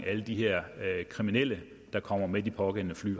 alle de her kriminelle der kommer med de pågældende fly